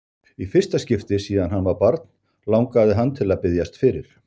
Í fyrsta skipti síðan hann var barn langaði hann til að biðjast fyrir.